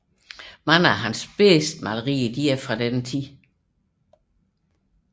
Flere af hans bedste malerier er fra denne periode